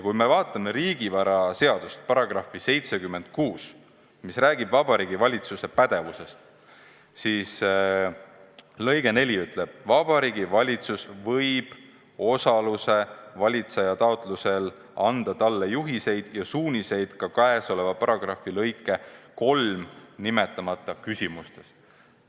Kui me vaatame riigivaraseaduse § 76, mis räägib Vabariigi Valitsuse pädevusest, siis näeme, et selle lõige 4 ütleb: Vabariigi Valitsus võib osaluse valitseja taotlusel anda talle juhiseid ja suuniseid ka käesoleva paragrahvi lõikes 3 nimetamata küsimustes.